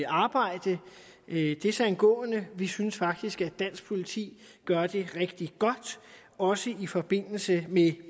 arbejde desangående vi synes faktisk at dansk politi gør det rigtig godt også i forbindelse med